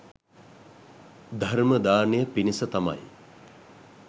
ධර්ම දානය පිණිස තමයි